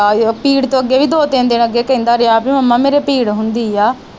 ਪੀੜ ਤੇ ਉਹ ਅੱਗੇ ਵੀ ਦੋ ਤਿੰਨ ਦਿਨ ਅੱਗੇ ਕਹਿੰਦਾ ਰਹਿਆ ਪੀ ਮੰਮਾ ਮੇਰੇ ਪੀੜ ਹੁੰਦੀ ਆ।